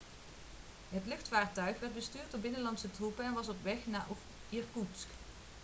het luchtvaarttuig werd bestuurd door binnenlandse troepen en was op weg naar irkoetsk